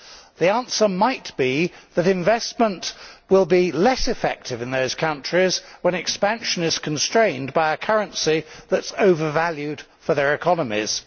The answer might be that investment will be less effective in those countries when expansion is constrained by a currency that is overvalued for their economies.